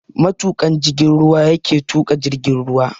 Matuƙan jigin ruwa yake tuƙa jirgin ruwa.